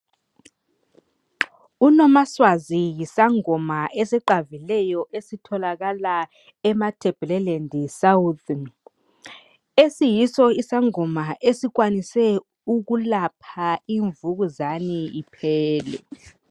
UNomaswazi yisangoma esiqavileyo, esitholakala eMatabeleland south. Esiyiso isangoma esikwanise ukulapha imvukuzane, iphele.